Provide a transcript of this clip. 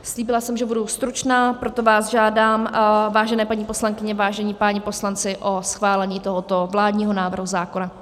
Slíbila jsem, že budu stručná, proto vás žádám, vážené paní poslankyně, vážení páni poslanci, o schválení tohoto vládního návrhu zákona.